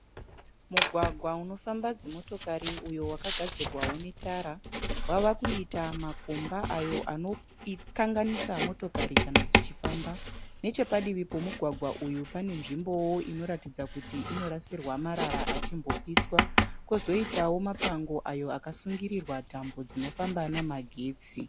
Mugwagwa inofamba dzimotokari wakagadzorwa netara wava kuita makomba zvinova zvinokanganisa mavhiri emotokari kana dzichifamba. Padivi panenzvimbo inorasirwa marara achipiswa uye padivi pane tambo dzinofamba nemagetsi.